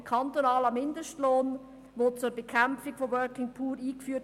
Ein kantonaler Mindestlohn wurde zur Bekämpfung von «Working Poor» eingeführt.